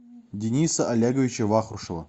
дениса олеговича вахрушева